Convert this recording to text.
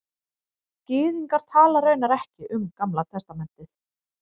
Gyðingar tala raunar ekki um Gamla testamentið